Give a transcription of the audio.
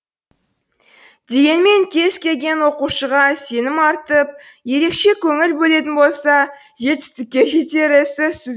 дегенмен кез келген оқушыға сенім артып ерекше көңіл бөлетін болса жетістікке жетері сөзсіз